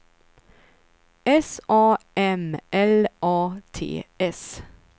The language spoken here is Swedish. S A M L A T S